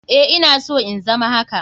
Eh ina so in zama haka.